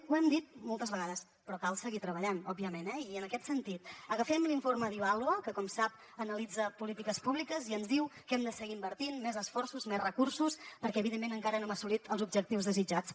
ho hem dit moltes vegades però cal seguir hi treballant òbviament eh i en aquest sentit agafem l’informe d’ivàlua que com sap analitza polítiques públiques i ens diu que hem de seguir invertint més esforços més recursos perquè evidentment encara no hem assolit els objectius desitjats